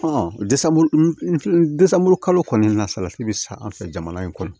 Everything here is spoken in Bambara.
kalo kɔni na salati bɛ san an fɛ jamana in kɔnɔ